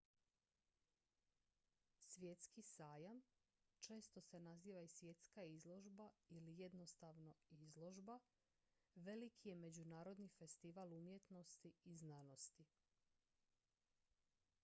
svjetski sajam često se naziva i svjetska izložba ili jednostavno izložba veliki je međunarodni festival umjetnosti i znanosti